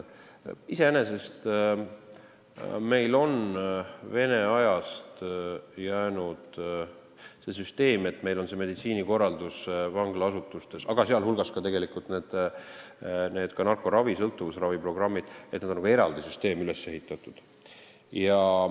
Iseenesest on meil Vene ajast jäänud nii, et meditsiinikorraldus vanglaasutustes, sh narkoravi-, sõltuvusraviprogrammid, on nagu eraldi süsteemina üles ehitatud.